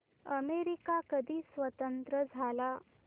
America कधी स्वतंत्र झाला